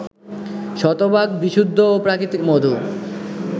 শতভাগ বিশুদ্ধ ও প্রাকৃতিক মধু